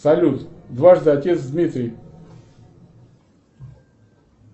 салют дважды отец дмитрий